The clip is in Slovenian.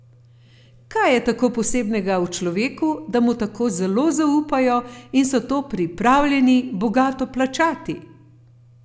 Kaj je tako posebnega v človeku, da mu tako zelo zaupajo in so to pripravljeni bogato plačati?